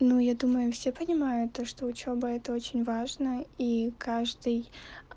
ну я думаю все понимают то что учёба это очень важно и каждый